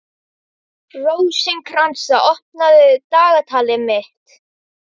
Rósinkransa, opnaðu dagatalið mitt.